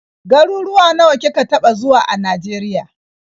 Garuwuwa nawa kika taɓa zuwa a Najeriya.